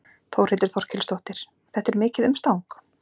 Þórhildur Þorkelsdóttir: Þetta er mikið umstang?